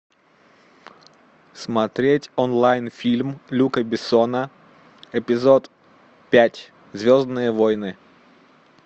смотреть онлайн фильм люка бессона эпизод пять звездные войны